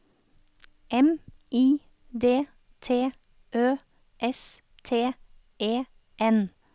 M I D T Ø S T E N